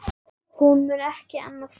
Hún mun ekki annast Lenu.